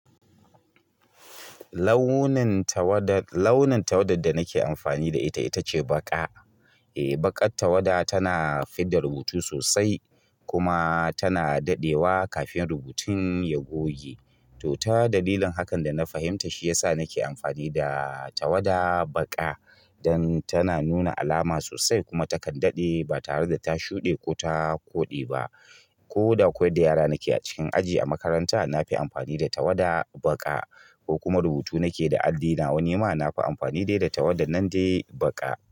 Launin tawada, launin tawada da nake amfani da ita, ita ce baƙa. Eh, baƙar tawada tana fidda rubutu sosai kuma tana daɗewa kafin rubutun ya goge. To, ta dalilin hakan da na fahimta shi ya sa nake amfani da tawada baƙa, don tana nuna alama sosai kuma takan daɗe ba tare da ta shuɗe ko ta koɗe ba. Ko da koyar da yara nake a cikin aji a makaranta, na fi amfani da tawada baƙa ko kuma rubutu nake da alli nawa, ni ma na fi amfani dai da tawadar nan dai baƙa.